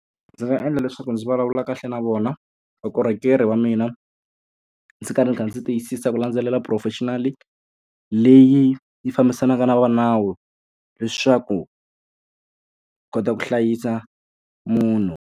Ndzi nga endla leswaku ndzi vulavula kahle na vona vukorhokeri wa mina, ndzi karhi ndzi kha ndzi tiyisisa ku landzelela professional-i leyi yi fambisanaka na vanawu leswaku kota ku hlayisa munhu.